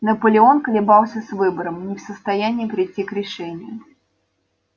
наполеон колебался с выбором не в состоянии прийти к решению